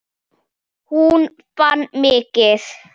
Hún vann mikið.